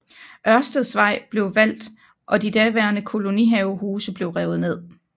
Ørstedsvej blev valgt og de daværende kolonihavehuse blev revet ned